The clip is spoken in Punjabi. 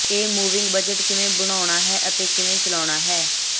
ਇੱਕ ਮੂਵਿੰਗ ਬਜਟ ਕਿਵੇਂ ਬਣਾਉਣਾ ਹੈ ਅਤੇ ਕਿਵੇਂ ਚੱਲਣਾ ਹੈ